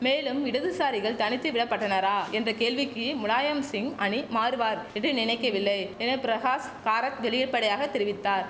மேலும் இடதுசாரிகள் தனித்து விடப்பட்டனாரா என்ற கேள்விக்கி முலாயம்சிங் அணி மாறுவார் என்று நினைக்கவில்லை என பிரகாஷ் கராத் வெளிர்படையாக தெரிவித்தார்